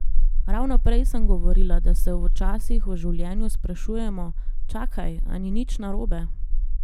Ravno prej sem govorila, da se včasih v življenju sprašujemo: 'Čakaj, a ni nič narobe?